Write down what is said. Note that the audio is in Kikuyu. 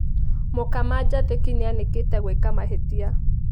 Mũkama Njathĩki nĩakanĩte gwĩka mahĩtia.